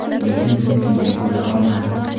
Lekin bugun shunday bo‘la olmadik.